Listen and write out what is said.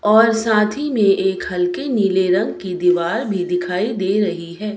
और साथी में एक हल्के नीले रंग की दीवाल भी दिखाई दे रही है।